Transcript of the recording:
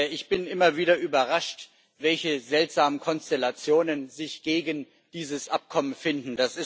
Ich bin immer wieder überrascht, welche seltsamen Konstellationen sich gegen dieses Abkommen finden.